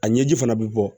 A ɲɛji fana bɛ bɔ